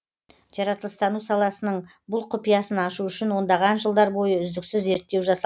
жаратылыстану саласының бұл құпиясын ашу үшін ондаған жылдар бойы үздіксіз зерттеу жасалған